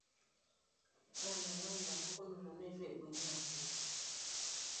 Ore enayau inapukunoto neitu eibung'i aasip.